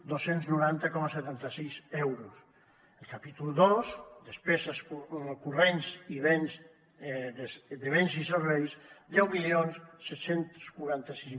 dos cents i noranta coma setanta sis euros el capítol dos despeses corrents de béns i serveis deu mil set cents i quaranta sis